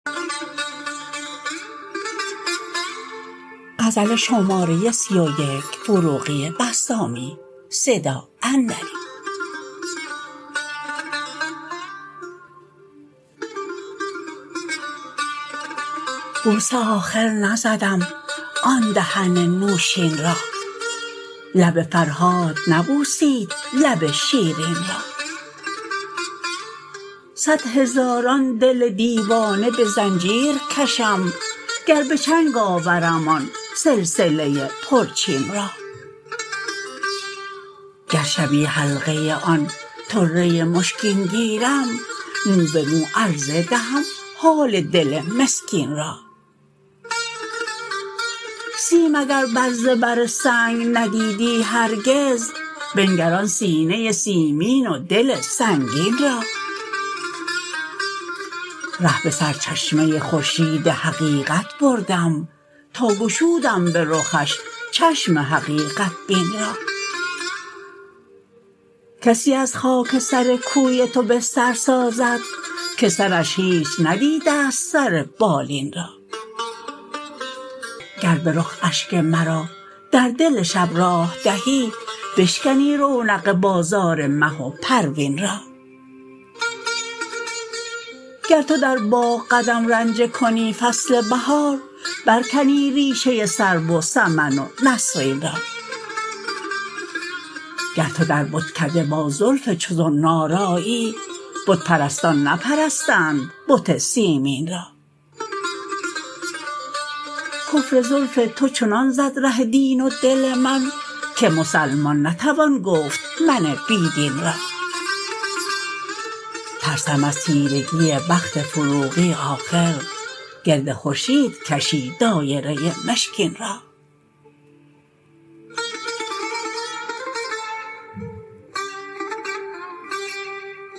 بوسه آخر نزدم آن دهن نوشین را لب فرهاد نبوسید لب شیرین را صدهزاران دل دیوانه به زنجیر کشم گر به چنگ آورم آن سلسله پرچین را گر شبی حلقه آن طره مشکین گیرم مو به مو عرضه دهم حال دل مسکین را سیم اگر بر زبر سنگ ندیدی هرگز بنگر آن سینه سیمین و دل سنگین را ره به سر چشمه خورشید حقیقت بردم تا گشودم به رخش چشم حقیقت بین را کسی از خاک سر کوی تو بستر سازد که سرش هیچ ندیده ست سر بالین را گر به رخ اشک مرا در دل شب راه دهی بشکنی رونق بازار مه و پروین را گر تو در باغ قدم رنجه کنی فصل بهار برکنی ریشه سرو و سمن و نسرین را گر تو در بتکده با زلف چو زنار آیی بت پرستان نپرستند بت سیمین را کفر زلف تو چنان زد ره دین و دل من که مسلمان نتوان گفت من بی دین را ترسم از تیرگی بخت فروغی آخر گرد خورشید کشی دایره مشکین را